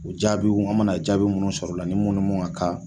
U jaabiw an mana jaabi minnu sɔrɔ o la ni mun ni mun ka kan